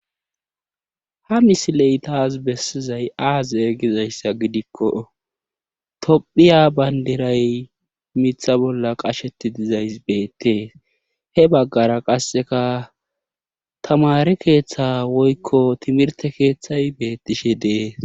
Ha misiley taas bessizay aaze gizayssa gidikko tophiya banddiray mitha bolla qashetti dizays beettees, he baggara qasseka tamaare keetha woykko timirtte keethay beettishe de7ees.